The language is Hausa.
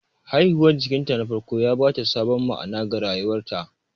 Haihuwar jikanta na farko ya ba ta sabon ma'ana ga rayuwarta.